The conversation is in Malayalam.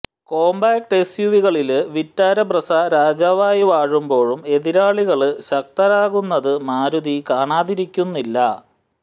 കോമ്പാക്ട് എസ്യുവികളില് വിറ്റാര ബ്രെസ്സ രാജാവായി വാഴുമ്പോഴും എതിരാളികള് ശക്തരാകുന്നത് മാരുതി കാണാതിരിക്കുന്നില്ല